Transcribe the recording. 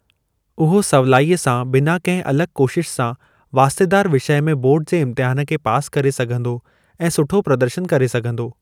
उहो सवलाईअ सां बिना कंहिं अलॻ कोशिश सां वास्तेदार विषय में बोर्ड जे इम्तिहन खे पास करे सघंदो ऐं सुठो प्रदर्शन करे सघंदो।